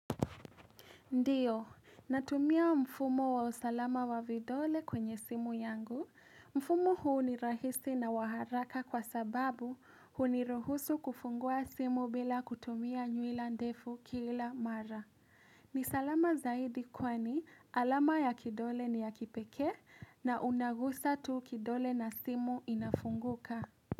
Ndio, natumia mfumo wa usalama wa vidole kwenye simu yangu. Mfumo huu ni rahisi na wa haraka kwa sababu huniruhusu kufungua simu bila kutumia nywila ndefu kila mara. Ni salama zaidi kwani alama ya kidole ni ya kipekee na unagusa tu kidole na simu inafunguka.